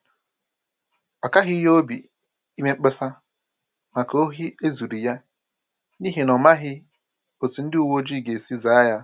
Ọ kaghị ya obi ime mkpesa maka ohi e zuru ya, n’ihi na ọ̀ maghị̀ otú ndị uweojii gā-esi zàa ya